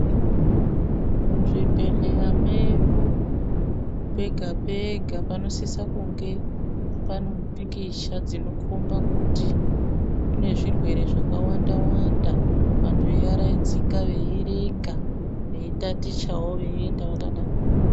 Muzvibhedhleya medu, pega pega panosisa kunge panompikicha dzinokhomba kuti kunezwirwere zvakawanda wanda, vantu veyiyarayidzika veyiyerenga, veyitatichawo, veyiyenda vakadaro.